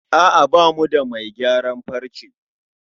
A'a bamu da mai gayaran farce